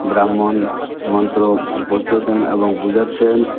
ব্রাহ্মণ মন্ত্র উম পড়তেছেন এবং বুঝাচ্ছেন।